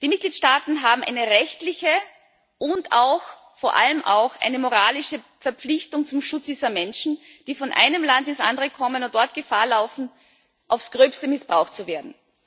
Die Mitgliedstaaten haben eine rechtliche und vor allem auch eine moralische Verpflichtung zum Schutz dieser Menschen, die von einem Land ins andere kommen und dort Gefahr laufen, aufs Gröbste missbraucht zu werden.